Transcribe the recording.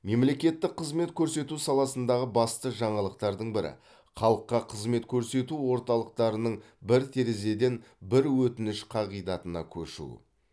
мемлекеттік қызмет көрсету саласындағы басты жаңалықтардың бірі халыққа қызмет көрсету орталықтарының бір терезеден бір өтініш қағидатына көшуі